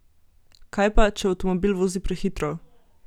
Kaj pa, če avtomobil vozi prehitro?